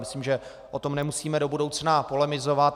Myslím, že o tom nemusíme do budoucna polemizovat.